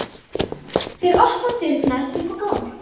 Þeir opna dyrnar upp á gátt.